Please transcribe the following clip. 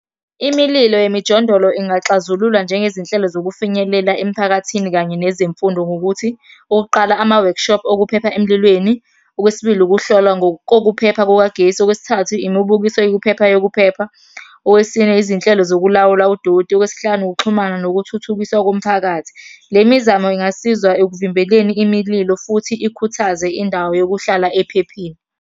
Imililo yemijondolo ingaxazululwa njengezinhlelo zokufinyelela emiphakathini kanye nezemfundo ngokuthi, okokuqala ama-workshop okuphepha emlilweni. Okwesibili, ukuhlolwa ngokokuphepha kukagesi. Okwesithathu, imibukiso yokuphepha yokuphepha. Owesine, izinhlelo zokulawula udoti, okwesihlanu, ukuxhumana nokuthuthukiswa komphakathi. Le mizamo ingasiza ekuvimbeleni imililo futhi ikhuthaze indawo yokuhlala ephephile.